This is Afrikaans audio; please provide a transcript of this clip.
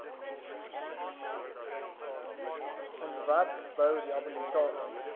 ontwerp bou rehabilitasie